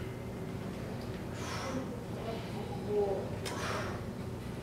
что нибудь про футбол включи пожалуйста